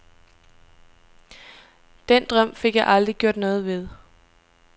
Den drøm fik jeg aldrig gjort noget ved.